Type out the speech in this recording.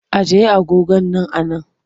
Ajiye agogon nan a nan!